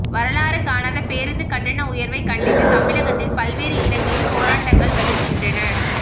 வரலாறு காணாத பேருந்து கட்டண உயர்வை கண்டித்து தமிழகத்தில் பல்வேறு இடங்களில் போராட்டங்கள் வலுக்கின்றன